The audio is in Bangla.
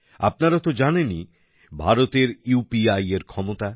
আপনারা তো জানেনই ভারতের ইউপিআই এর ক্ষমতা